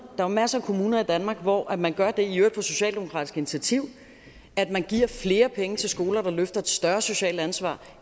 er masser af kommuner i danmark hvor man gør det i øvrigt på socialdemokratisk initiativ at man giver flere penge til skoler der løfter et større socialt ansvar